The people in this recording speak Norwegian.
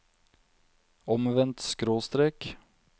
omvendt skråstrek